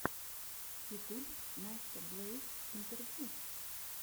ютюб настя блэйз интервью